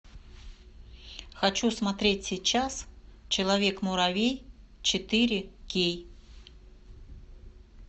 хочу смотреть сейчас человек муравей четыре кей